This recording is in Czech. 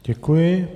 Děkuji.